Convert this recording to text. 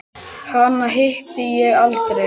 Hana hitti ég aldrei.